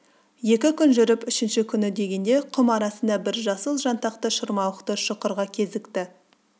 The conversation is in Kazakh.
екі күн жүріп үшінші күні дегенде құм арасында бір жасыл жантақты шырмауықты шұқырға кезікті